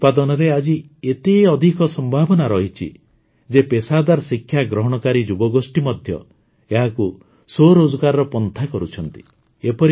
ମହୁ ଉତ୍ପାଦନରେ ଆଜି ଏତେ ଅଧିକ ସମ୍ଭାବନା ରହିଛି ଯେ ପେସାଦାର ଶିକ୍ଷା ଗ୍ରହଣକାରୀ ଯୁବଗୋଷ୍ଠୀ ମଧ୍ୟ ଏହାକୁ ସ୍ୱରୋଜଗାର ପନ୍ଥା କରୁଛନ୍ତି